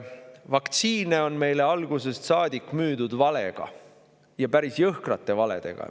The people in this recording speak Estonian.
Vaktsiine on meile algusest saadik müüdud valedega, ja päris jõhkrate valedega.